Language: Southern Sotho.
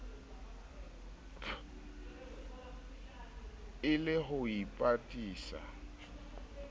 e le ho ipapisa le